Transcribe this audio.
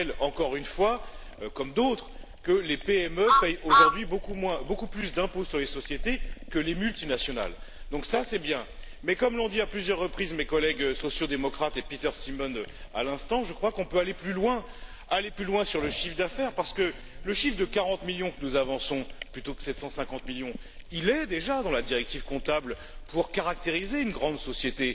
Je rappelle encore une fois, comme d'autres, que les PME payent aujourd'hui beaucoup plus d'impôts sur les sociétés que les multinationales, ce qui est bien, mais comme l'ont dit à plusieurs reprises mes collègues sociaux démocrates et Peter Simon, à l'instant, je crois qu'on peut aller plus loin sur le chiffre d'affaires, parce que le chiffre de 40 millions que nous avançons, plutôt que 750 millions, figure déjà dans la directive comptable pour caractériser une grande société